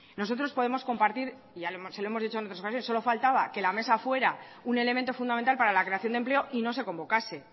nosotros podemos compartir y se lo hemos dicho en otras ocasiones solo faltaba que la mesa fuera un elemento fundamental para la creación de empleo y no se convocase